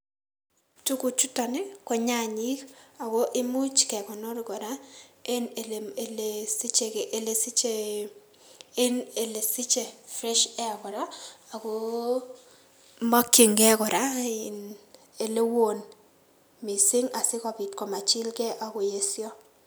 Tuguchuton ii ko nyanyik ago imuch kekonor kora en ile ile siche ile siche en ile siche fresh air kora agoo mikyingei kora in ilewon missing' asikobit komachilkei ak koyesio.